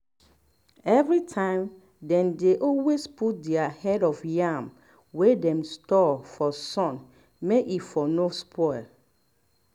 every time dey dey always put their head of yam wey dem store for sun may e for no spoil